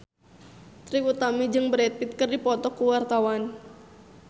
Trie Utami jeung Brad Pitt keur dipoto ku wartawan